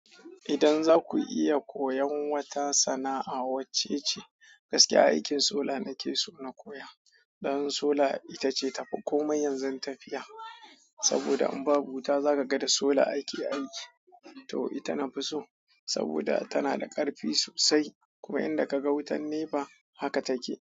Idan za ku iya koyon wata sana'a wacce ce? Gaskiya aikin sola nake so na koya. Don sola itace ta fi komai yanzu tafiya saboda in babu wuta bakada sola aiki ya yanke to ita nafi so saboda tana da ƙarfi sosai kuma idan ka ga wutar NEPA haka take.